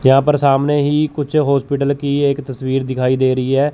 यहां पर सामने ही कुछ हॉस्पिटल की एक तस्वीर दिखाई दे रही है।